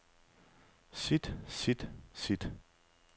sit sit sit